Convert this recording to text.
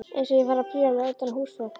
Eins og ég fari að príla utan á húsveggjum!